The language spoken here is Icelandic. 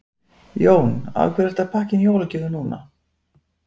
Jón: Af hverju ertu að pakka inn jólagjöfum núna?